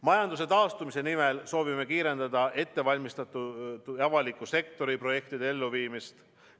Majanduse taastumise nimel soovime kiirendada ettevalmistatud avaliku sektori projektide elluviimist.